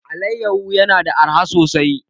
Alayyafo yana da arha sosai.